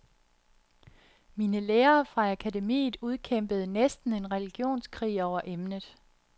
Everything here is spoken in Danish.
Mine lærere fra akademiet udkæmpede næsten en religionskrig over emnet.